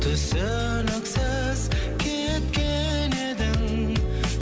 түсініксіз кеткен едің